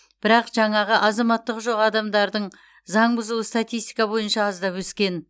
бірақ жаңағы азаматтығы жоқ адамдардың заң бұзуы статистика бойынша аздап өскен